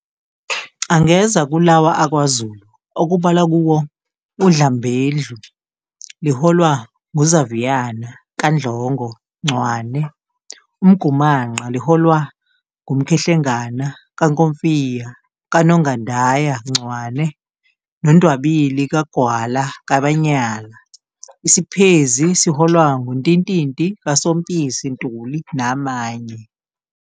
Angeza kulawa akwaZulu okubalwa kuwo uDlambedlu liholwa nguZaviyana kaNdlongo Ncwane, uMgumanqa liholwa nguMkhehlengana kaNkomfiya kaNongandaya Ncwane noNdwabili kaGwala kaManyala, iSiphezi liholwa nguNtintinti kaSompisi Ntuli namanye.